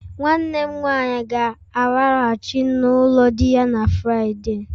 Nwanne m nwanyi ga-alaghachi n'ulo di ya na Friday